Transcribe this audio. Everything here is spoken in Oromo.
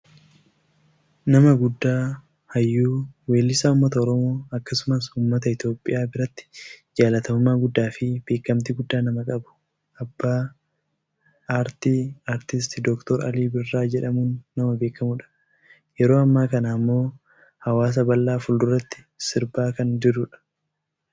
nama guddaa hayyuu, weellisaa uummata Oromoo akkasumas uummata Itoopiyaa biratti jaalatamummaa guddaafi beekkamtii guddaa nama qabu abbaa aartii aartist Dr Ali Birra jedhamuun nama beekkamudha. yeroo ammaa kana ammoo hawaasa bal'aa fuulduratti sirbaa kan jirudha.